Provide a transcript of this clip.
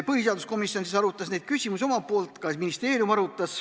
Põhiseaduskomisjon siis arutas neid küsimusi ka omalt poolt, samuti ministeerium.